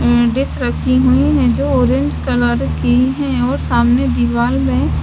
dish राखी हुई है जो की ऑरेंज कलर की है और सामने दिवार मे --